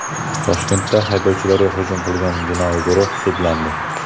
Toshkentda haydovchilarga hujum qilgan jinoiy guruh sudlandi.